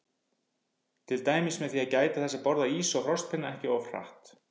Til dæmis með því að gæta þess að borða ís og frostpinna ekki of hratt.